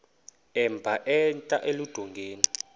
emba entla eludongeni